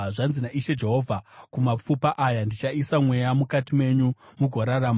Zvanzi naIshe Jehovha kumapfupa aya: Ndichaisa mweya mukati menyu mugorarama.